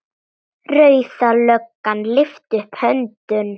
Rauða löggan lyftir upp hönd.